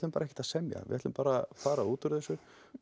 bara ekkert að semja við ætlum bara fara út úr þessu